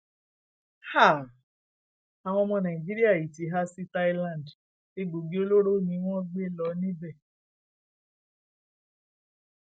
háà àwọn ọmọ nàìjíríà yìí ti há sí thailand egbòogi olóró ni wọn gbé lọ níbẹ